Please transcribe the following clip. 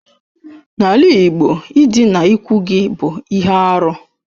N'ala Igbo ịdịna ikwu gị bụ ihe arụ.